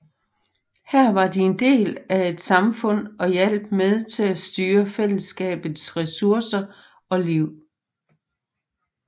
Her var de en del af et samfund og hjalp med til at styre fællesskabets ressourcer og liv